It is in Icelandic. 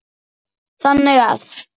þannig að